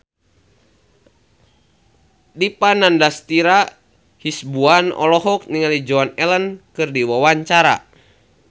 Dipa Nandastyra Hasibuan olohok ningali Joan Allen keur diwawancara